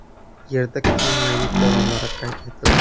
Yerda kuchli magnit bo‘ronlari qayd etildi.